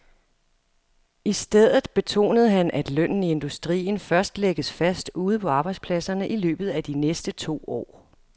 I stedet betonede han, at lønnen i industrien først lægges fast ude på arbejdspladserne i løbet af de næste to år.